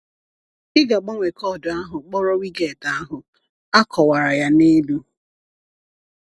Ị ga-agbanwe koodu ahụ kpọrọ widget ahụ; a kọwara ya n’elu.